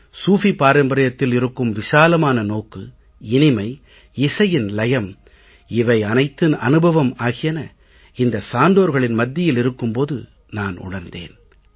சூஃபி பாரம்பரியத்தில் இருக்கும் விசாலமான நோக்கு இனிமை இசையின் லயம் இவை அனைத்தின் அனுபவம் ஆகியன இந்த சான்றோர்களின் மத்தியில் இருக்கும் போது நான் உணர்ந்தேன்